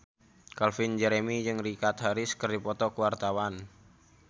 Calvin Jeremy jeung Richard Harris keur dipoto ku wartawan